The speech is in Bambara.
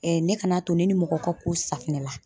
ne kana to ne ni mɔgɔ ka ko safinɛ la